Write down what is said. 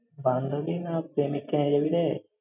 বান্ধবী না প্রেমিকাকে নিয়ে যাবি রে?